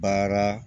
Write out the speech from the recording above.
Baara